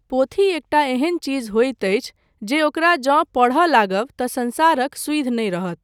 पोथी एकटा एहन चीज होइत अछि, जे ओकरा जे पढय लागब तँ संसारक सुधि नहि रहत।